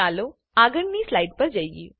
ચાલો આગળની સ્લાઈડ પર જઈએ